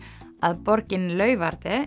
að borgin